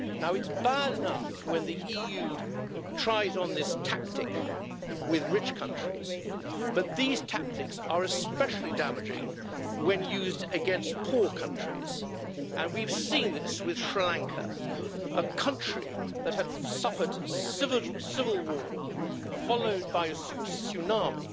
It's bad enough when the EU tries on this tactic with rich countries, but these tactics are especially damaging when used against poor countries, and we've seen this with Sri Lanka, a country that had suffered civil war followed by a tsunami.